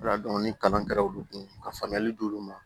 Wala ni kalan kɛra olu kun ka faamuyali d'olu ma